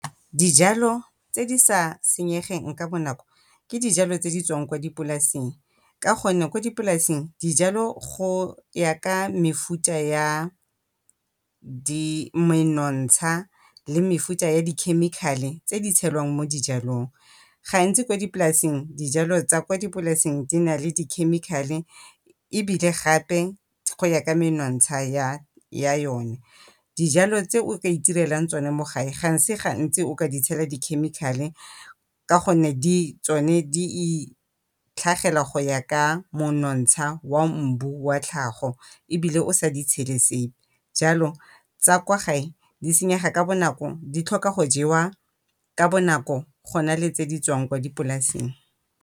Dijalo tse di sa senyegeng ka bonako ke dijalo tse di tswang ko dipolaseng ka gonne ko dipolaseng dijalo go ya ka mefuta ya menontsha le mefuta ya dikhemikhale tse di tshelwang mo dijalong. Gantsi ko dipolasing, dijalong tsa ko dipolaseng di na le dikhemikhale ebile gape di kgona ka menontsha ya yone. Dijalo tse o ka itirelang tsone mo gae ga e se gantsi o ka di tshela dikhemikhale ka gonne tsone di itlhagela go ya ka monontsha wa mbu wa tlhago ebile o sa di tshele sepe. Jalo tsa kwa gae di senyega ka bonako, di tlhoka go jewa ka bonako go na le tse di tswang ko dipolaseng.